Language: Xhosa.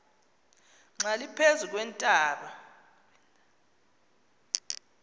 xa liphezu kweentaba